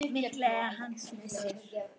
Mikill er hans missir.